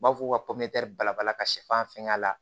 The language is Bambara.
U b'a fɔ ko ka bala ka sɛfan fɛnkɛ la